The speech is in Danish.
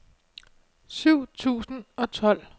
syv tusind og tolv